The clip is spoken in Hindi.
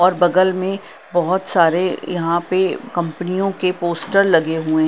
और बगल में बहोत सारे यहां पे कंपनियों के पोस्टर लगे हुए--